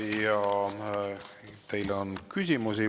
Ja teile on küsimusi.